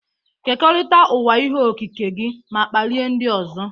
Kekọrịta ụwa ihe okike gị ma kpalie ndị ọzọ.